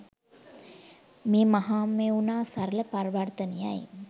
මේ මහමෙවුනා සරල පරිවර්ථනය යි